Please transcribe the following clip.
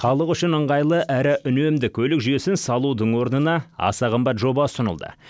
халық үшін ыңғайлы әрі үнемді көлік жүйесін салудың орнына аса қымбат жоба ұсынылды